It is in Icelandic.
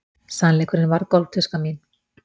Sannleikurinn varð gólftuska mín.